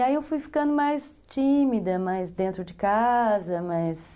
E aí eu fui ficando mais tímida, mais dentro de casa, mais...